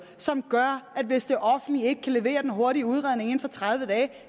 som gør at hvis det offentlige ikke kan levere den hurtige udredning inden for tredive dage